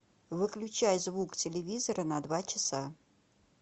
выключай звук телевизора на два часа